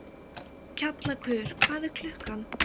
Kjallakur, hvað er klukkan?